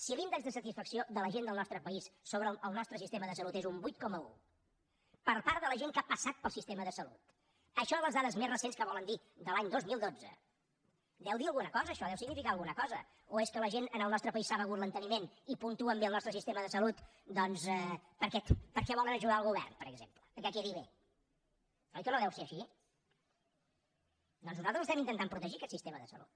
si l’índex de satisfacció de la gent del nostre país sobre el nostre sistema de salut és un vuit coma un per part de la gent que ha passat pel sistema de salut això a les dades més recents que volen dir de l’any dos mil dotze deu dir alguna cosa això deu significar alguna cosa o és que la gent en el nostre país s’ha begut l’enteniment i puntuen bé el nostre sistema de salut doncs perquè volen ajudar el govern per exemple que quedi bé oi que no deu ser així doncs nosaltres l’estem intentant protegir aquest sistema de salut